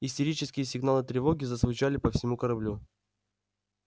истерические сигналы тревоги зазвучали по всему кораблю